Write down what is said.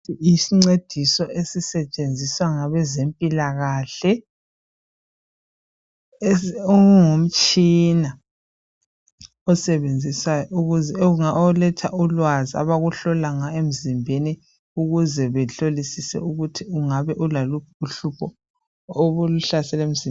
Isincediso esisentshenziswa ngabezempilakahle, ungumtshina osebenziswayo, oletha ulwazi abakuhlola ngawo emzimbeni ukuze behlolisise ukuthi ungabe ulaluphi uhlupho olukuhlasele emzimbeni.